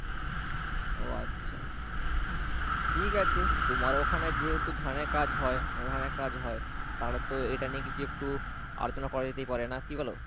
ও আচ্ছা, ঠিক আছে, তোমার ওখানে যেহেতু ধানে কাজ হয় ধানে কাজ হয়, তাহলে তো এটা নিয়ে কিছু একটু আলোচনা করা যেতেই পারে, না কি বলো?